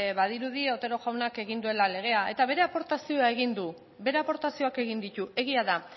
badirudi otero jaunak egin duela legea eta bere aportazioa egin du bere aportazioak egin ditu egia da